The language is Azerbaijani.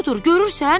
Odur, görürsən?